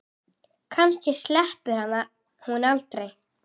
Kannski sleppur hún aldrei.